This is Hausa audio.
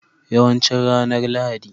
Yawancin ranar Lahadi.